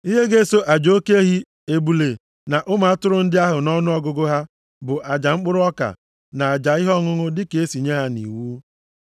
Ihe ga-eso aja oke ehi, ebule na ụmụ atụrụ ndị ahụ nʼọnụọgụgụ ha bụ aja mkpụrụ ọka na aja ihe ọṅụṅụ dịka e si nye ya nʼiwu.